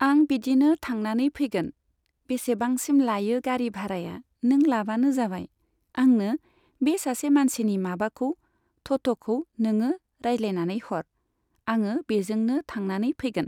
आं बिदिनो थांनानै फैगोन। बेसेबांसिम लायो गारि भाराया नों लाबानो जाबाय। आंनो बे सासे मानसिनि माबाखौ थथ'खौ नोङो रायज्लायनानै हर। आङो बेजोंनो थांनानै फैगोन।